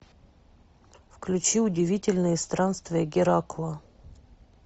включи удивительные странствия геракла